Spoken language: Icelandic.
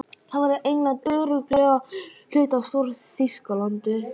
Þá verður England örugglega hluti af Stór-Þýskalandi.